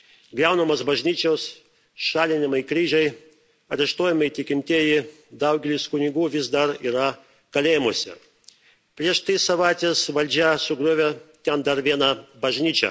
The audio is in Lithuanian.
griaunamos bažnyčios, šalinami kryžiai, areštuojami tikintieji, daugelis kunigų vis dar yra kalėjimuose. Prieš tris savaites valdžia sugriovė ten dar vieną bažnyčią.